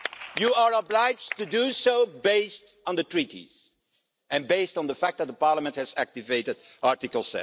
You are obliged to do so based on the Treaties and based on the fact that the Parliament has activated Article